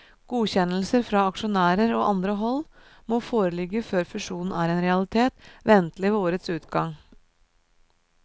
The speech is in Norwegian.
Godkjennelser fra aksjonærer og andre hold må foreligge før fusjonen er en realitet, ventelig ved årets utgang.